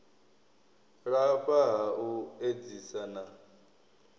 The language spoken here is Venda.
lafha ha u edzisa na